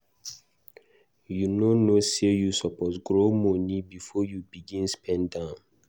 You no know sey you suppose grow moni before you begin spend am.